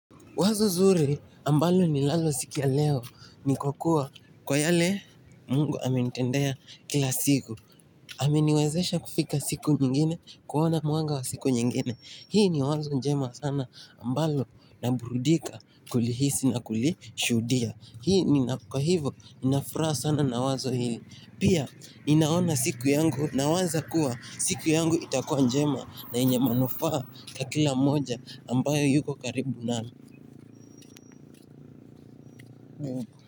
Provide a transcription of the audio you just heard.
Wazo nzuri ambalo ninalo siku ya leo ni kwa kuwa kwa yale Mungu amenitendea kila siku. Ameniwezesha kufika siku nyingine, kuona mwanga wa siku nyingine. Hii ni wazo njema sana ambalo naburudika kulihisi na kulishuhudia. Hii nina kwa hivo ninafuraha sana na wazo hili. Pia ninaona siku yangu nawaza kuwa siku yangu itakua njema na yenye manufaa kwa kila moja ambayo yuko karibu nami.